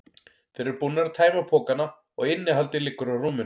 Þeir eru búnir að tæma pokana og innihaldið liggur á rúminu.